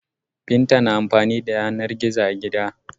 Binta na amfani da yanar gizo a gida.